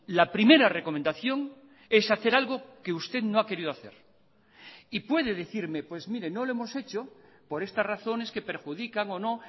la primera recomendación es hacer algo que usted no ha querido hacer y puede decirme pues mire no lo hemos hecho por estas razones que perjudican o no